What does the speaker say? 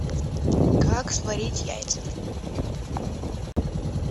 как сварить яйца